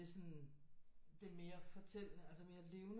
Det er sådan det er mere fortællende altså mere levende